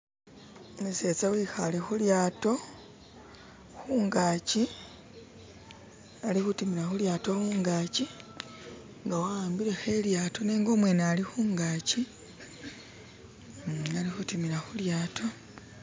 umusetsa wihale hulyato hungachi alihutimila hulyato hungachi nga wawambileho ilyato nenga umwene alihungachi uhm alihutimila hulyato